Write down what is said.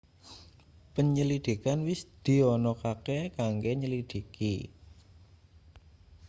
penyelidikan wis dianakake kanggo nyelidhiki